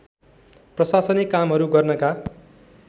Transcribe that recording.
प्रशासनिक कामहरू गर्नका